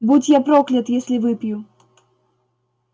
будь я проклят если выпью